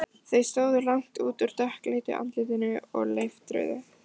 Þau stóðu langt út úr dökkleitu andlitinu og leiftruðu.